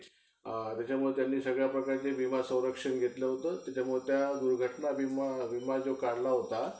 samsung चा कस काय आहे. samsung तर घायचे आहे. पण अं